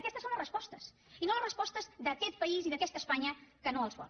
aquestes són les respostes i no les respostes d’aquest país i d’aquesta espanya que no els vol